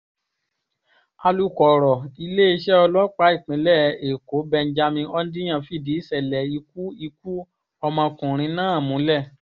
alūkọ̀rọ̀ iléeṣẹ́ ọlọ́pàá ìpínlẹ̀ èkó benjamin hondyin fìdí ìṣẹ̀lẹ̀ ikú ikú ọmọkùnrin náà múlẹ̀